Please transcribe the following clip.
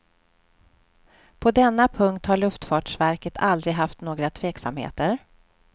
På denna punkt har luftfartsverket aldrig haft några tveksamheter.